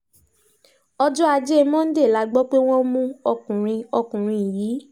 ọjọ́ ajé monday la gbọ́ pé wọ́n mú ọkùnrin ọkùnrin yìí